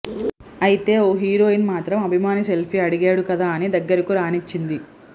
అయితే ఓ హీరోయిన్ మాత్రం అభిమాని సెల్ఫీ అడిగాడు కదా అని దగ్గరకు రానిచ్చింది